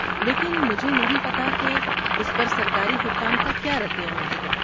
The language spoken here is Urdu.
لیکن مجھے نہیں پتہ کہ اس پر سرکاری حکام کا کیا رد عمل ہوگا۔